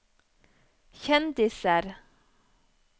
kjendiser